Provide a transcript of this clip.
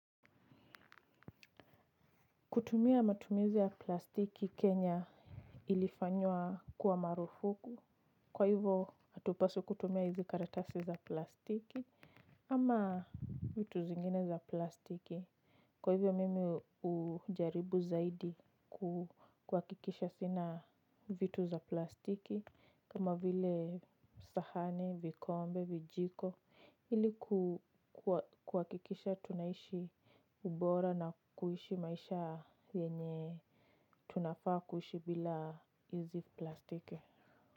Kutumia matumizi ya plastiki Kenya ilifanywa kuwa marufuku, kwa hivyo atupaswi kutumia hizi karatasi za plastiki ama vitu zingine za plastiki. Kwa hivyo mimi ujaribu zaidi kukuhakikisha sina vitu za plastiki. Kama vile sahani, vikombe, vijiko hili kukuhakikisha tunaishi ubora na kuishi maisha yenye tunafaa kuishi bila izi plastiki.